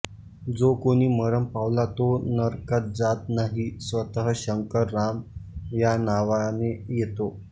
जो कोणी मरण पावला तो नरकात जात नाही स्वतः शंकर राम या नावाने येतो